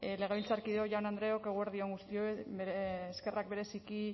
legebiltzarkideok jaun andreok eguerdi on guztioi eskerrak bereziki